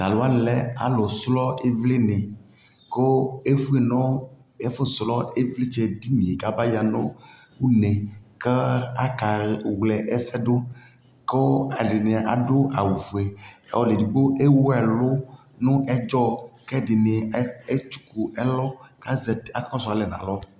Talu wani lɛ alu srɔ ιvlι niKʋ ɛfue nu ɛfu srɔ ιvlιtsɛ dι ni yɛ kaba ya nu uneKa akawlɛ ɛsɛ duKu ɛdιnι adu awu fueƆlu ɛdigbo ɛwu ɛlu nu ɛdzɔƐdιni ɛtsuku ɛlɔKu akɔ su ɔli yɛ buaku